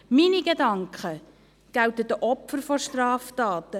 Meine Gedanken gelten den Opfern der Straftaten.